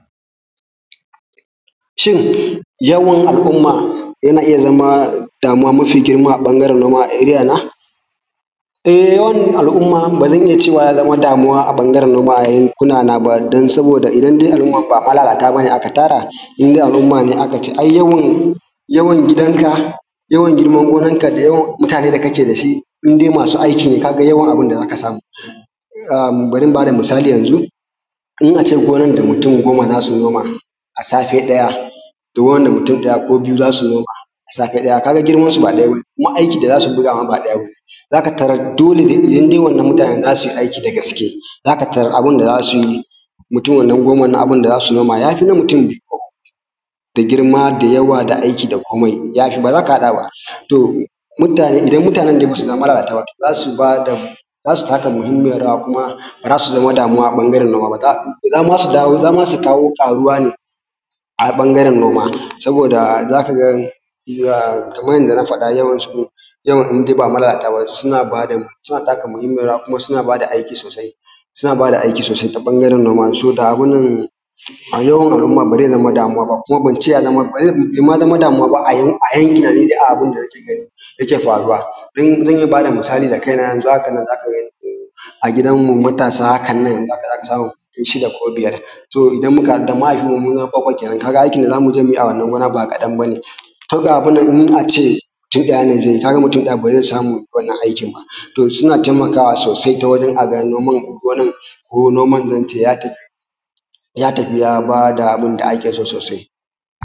Shin yawan al’umma yana iya zama damuwa mafi girma a ɓangaren al’uma ta a eriyana, eh yawan al’umma bazan iya cewa ya zamo damuwa a bangaren noma a yankuma ba saboda idan dai al’umman ba malalata ba ne aka tara indai al’umma ne, aka ce ai yawan yawan gidanka yawan girman wurinka da yawan muatane da kake da shi. Indai masu aiki ne ka ga yawan abun da za ka samu, um bari in ba da misali yanzu in a ce noman da mutum goma za su noma a safe ɗaya to wanda mutum ɗaya ko biyu za su noma a safe ɗaya, ka ga girmansu ba ɗaya ba kuma aiki da za su ɗauka ba ɗaya ba. Kuma za ka tarar dole dai idan wannan mutanen za su yi aiki da gaske za ka tarar mutum goman nan za su noma yafi na mutu biyu ko uku da girma da yawa da aiki da komai ya fi, ba za ka haɗa ba. To, mutane idan mutanen ba su zama malalata ba za su ba da za su taka muhinmiyar rawa kuma baza su zama damuwa a ɓangaren noma ba, zama su kawo ƙaruwa ne a ɓangaren noma saboda za ka ga kaman yadda na faɗa yawancin jama’u in dai ba malalata ba, suna taka muhinmiyar rawa kuma suna nada aiki sosai, suna bada aiki sosai ta ɓangaren noma, saboda abu nan yawan al’umma ba ze zama damuwaba kuma ban ce ya, be ma zama damuwa ba. A yankin na dai abun da nake gani yake faruwa zan iya bada misali da kaina yanzu haka nan za ka gani a gidanmu matasa hakan nan za ka samu shida ko biyar to idan muka haɗu da mahaifinmu mu bakwai kenan kaga ai aikin da za mu je mu yi a wannan gona ba kaɗan ba ne. To, abun nan in a ce mutum ɗaya ze yi kaga mutum ba ze samu wannan aikin ba, to suna taimakawa sosai ta wurin a ga gonan ya tafi ya tafi ya bada abun da ake so sosai.